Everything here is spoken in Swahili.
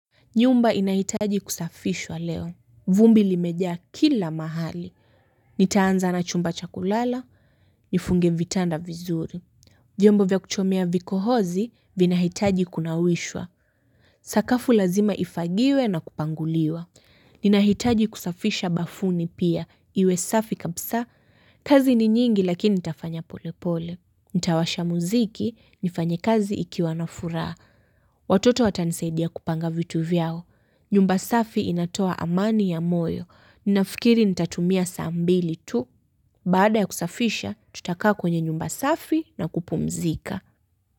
Nyumba inahitaji kusafishwa leo. Vumbi limejaa kila mahali. Nitaanza na chumba cha kulala. Nifunge vitanda vizuri. Vyombo vya kuchomea vikohozi vinahitaji kunawishwa. Sakafu lazima ifagiwe na kupanguliwa. Ninahitaji kusafisha bafuni pia. Iwe safi kabsa. Kazi ni nyingi lakini ntafanya pole pole. Nitawasha muziki, nifanye kazi ikiwa na furaa. Watoto watanisaidia kupanga vitu vyao. Nyumba safi inatoa amani ya moyo. Ninafikiri nitatumia saa mbili tu. Baada ya kusafisha, tutakaa kwenye nyumba safi na kupumzika.